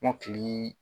Kɔmɔkili